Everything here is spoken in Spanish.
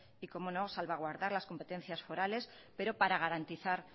y como no salvaguardar las competencia forales pero para garantizar